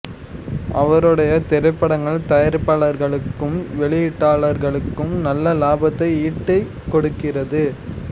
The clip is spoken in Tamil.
அவருடைய திரைப்படங்கள் தயாரிப்பாளர்களுக்கும் வெளியீட்டாளர்களுக்கும் நல்ல லாபத்தை ஈட்டிக் கொடுக்கிறது